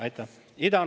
Aitäh!